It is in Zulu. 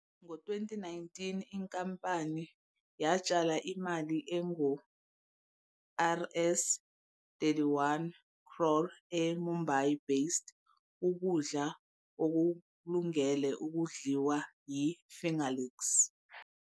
Ngo-2019, inkampani yatshala imali engu-Rs. 31 crore e-Mumbai-based ukudla okulungele ukudliwa i-Fingerlix.